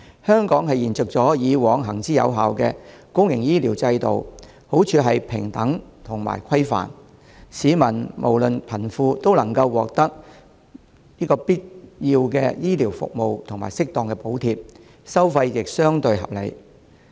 香港是延續以往行之有效的公營醫療制度，好處是平等和規範，市民不論貧富，都能獲得必要的醫療服務及適當補貼，收費亦相對合理。